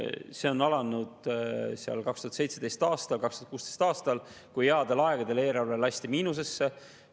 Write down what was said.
See algas 2017. aastal, 2016. aastal, kui headel aegadel lasti eelarve miinusesse.